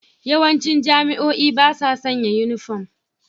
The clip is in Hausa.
Yawancin jami'o'i ba sa sanya yunifom.